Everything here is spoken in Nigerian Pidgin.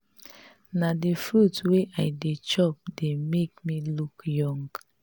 na the fruit wey i dey chop dey make me look young